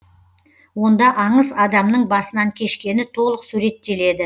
онда аңыз адамның басынан кешкені толық суреттеледі